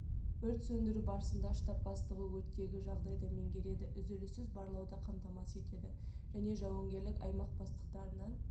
өрт сөндіру барысында штаб бастығы өрттегі жағдайды меңгереді үзіліссіз барлауды қамтамасыз етеді және жауынгерлік аймақ бастықтарынан